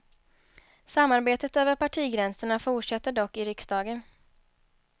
Samarbetet över partigränserna fortsätter dock i riksdagen.